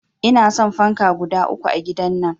Inason fanka guda uku a gidan nan